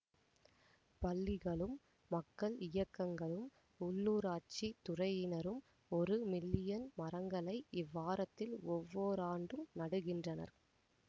பள்ளிகளும் மக்கள் இயக்கங்களும் உள்ளூராட்சி துறையினரும் ஒரு மில்லியன் மரங்களை இவ்வாரத்தில் ஒவ்வோராண்டும் நடுகின்றனர்